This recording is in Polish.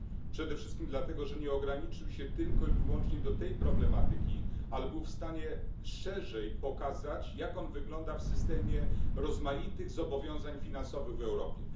Przede wszystkim dlatego, że nie ograniczył się tylko i wyłącznie do tej problematyki, ale był w stanie szczerzej pokazać, jak on wygląda w systemie rozmaitych zobowiązań finansowych w Europie.